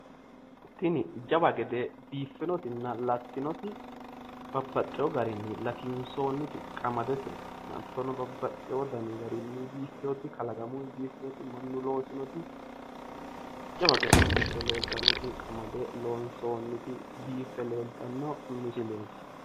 Tini jawa gede biiffinotinna lattinoti babbaxxeeyo garinni latinsoonniti qamadete. Hattono babbaxeeyo dani garinni biiffeyooti kalaqamuyi biiffeyooti mannu looseyooti jawa gede biife leeltannoti qamade loonsoonniti biife leeltanno misileeti.